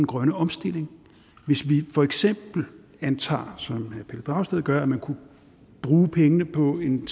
grønne omstilling hvis vi for eksempel antager som herre pelle dragsted gør at man kunne bruge pengene på en